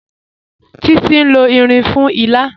Títi n lọ irin fún ìlà.